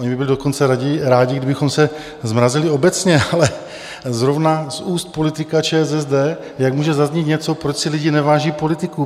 Oni by byli dokonce rádi, kdybychom se zmrazili obecně , ale zrovna z úst politika ČSSD jak může zaznít něco, proč si lidi neváží politiků?